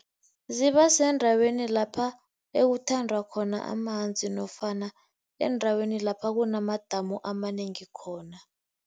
Zibasendaweni lapha ekuthanda khona amanzi nofana endaweni lapha kunamadamu amanengi khona.